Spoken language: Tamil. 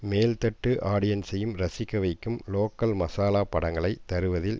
மேல்தட்டு ஆடியன்ஸையும் ரசிக்க வைக்கும் லோக்கல் மசாலா படங்களை தருவதில்